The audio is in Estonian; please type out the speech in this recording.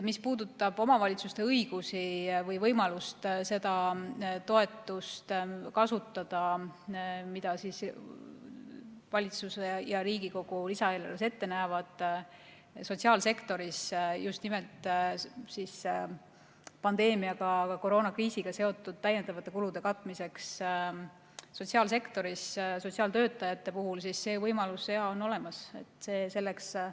Mis puudutab omavalitsuste õigusi või võimalusi kasutada toetust, mida valitsus ja Riigikogu lisaeelarves ette näevad, sotsiaalsektoris just nimelt pandeemiaga, koroonakriisiga seotud täiendavate kulude katmiseks, siis saan öelda, et sotsiaalsektoris sotsiaaltöötajate puhul on see võimalus olemas.